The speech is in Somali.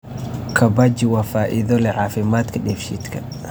Kabbaji waa faa'iido leh caafimaadka dheef-shiidka.